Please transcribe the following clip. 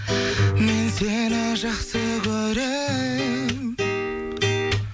мен сені жақсы көрем